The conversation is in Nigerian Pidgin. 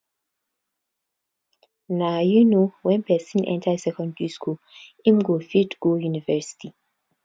na um when person enter secondary school im go fit go university